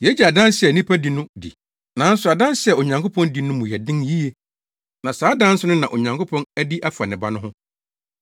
Yegye adanse a nnipa di no di; nanso adanse a Onyankopɔn di no mu yɛ den yiye. Na saa adanse no na Onyankopɔn adi afa ne Ba no ho.